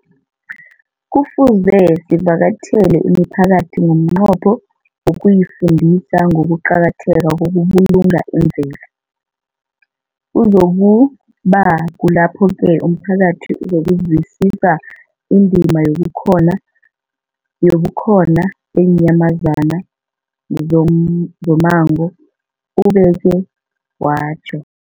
Kufuze sivakatjhele imiphakathi ngomnqopho wokuyifundisa ngokuqakatheka kokubulunga imvelo. Kuzoku ba kulapho-ke umphakathi uzokuzwisisa indima yobukhona beenyamazana zommango, ubeke watjho.